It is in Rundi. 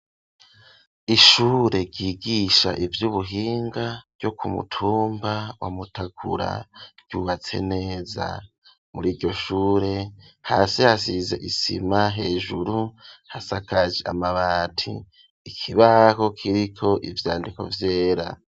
Ishure ryigisha ivy'ubuhinga ryo kumutumba wa Mutakura ryubatse neza, muri iryo shure hasi hasize isima, hejuru hasakaje amabati ,ikibaho kiriko ivyandiko vyera.